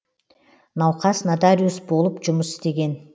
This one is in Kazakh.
науқас нотариус болып жұмыс істеген